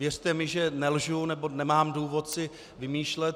Věřte mi, že nelžu nebo nemám důvod si vymýšlet.